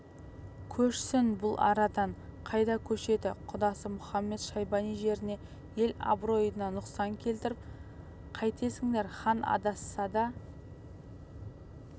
көшсін бұл арадан қайда көшеді құдасы мұхамед-шайбани жеріне ел абыройына нұқсан келтіріп қайтесіңдер хан адасса да